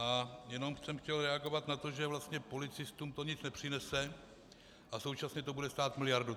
A jenom jsem chtěl reagovat na to, že vlastně policistům to nic nepřinese a současně to bude stát miliardu.